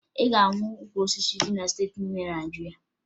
Ị ga-ahụ ukwu osisi na steeti niile dị na Naịjirịa